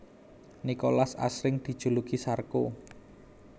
Nicolas asring dijuluki Sarko